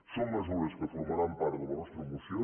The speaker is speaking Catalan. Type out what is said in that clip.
són mesures que formaran part de la nostra moció